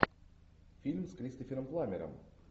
фильм с кристофером пламмером